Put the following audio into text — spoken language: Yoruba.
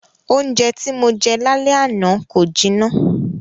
Oúnjẹ tí Mo jẹ l'álẹ́ àná kò jiná.